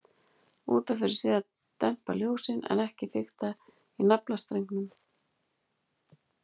Út af fyrir sig að dempa ljósin, en ekki fikta í naflastrengnum.